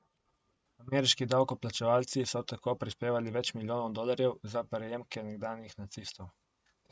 Ameriški davkoplačevalci so tako prispevali več milijonov dolarjev za prejemke nekdanjih nacistov.